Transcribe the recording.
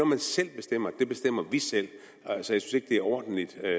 man selv bestemmer det bestemmer vi selv så jeg synes ikke det er ordentligt at